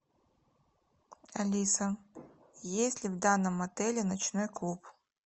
алиса есть ли в данном отеле ночной клуб